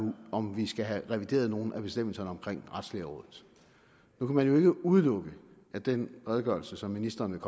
om vi skal have revideret nogle af bestemmelserne omkring retslægerådet nu kan man ikke udelukke at den redegørelse som ministeren